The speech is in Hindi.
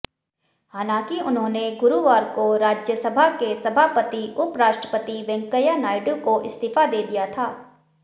हालांकि उन्होंने गुरुवार को राज्यसभा के सभापति उपराष्ट्रपति वेंकैया नायडू को इस्तीफा दे दिया था